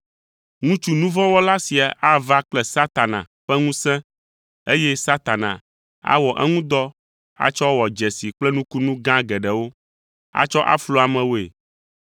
Ŋutsu nu vɔ̃ wɔla sia ava kple Satana ƒe ŋusẽ eye Satana awɔ eŋu dɔ atsɔ wɔ dzesi kple nukunu gã geɖewo, atsɔ aflu amewoe.